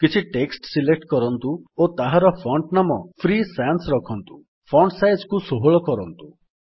କିଛି text select କରନ୍ତୁ ଓ ତାହାର ଫଣ୍ଟ୍ ନାମ ଫ୍ରି ସାନ୍ସ ରଖନ୍ତୁ ଫଣ୍ଟ ସାଇଜ୍ କୁ 16 କରନ୍ତୁ